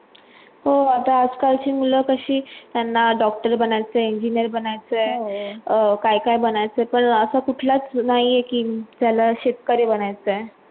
हो आता आजकालची मुलं कशी त्यांना doctor बनायचं Engineer बनायचे आहे काय काय बाणायच पण असा कुठला नाही त्याला शेतकरी बनायचं आहे